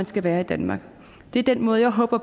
skal være i danmark det er den måde jeg håber